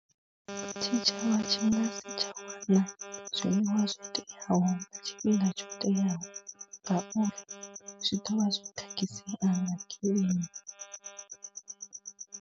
Tshitshavha tshanga tsha u ḽa zwiḽiwa zwo teaho nga tshifhinga tsho teaho ngauri zwi ḓo vha zwi khakhisea nga kilima.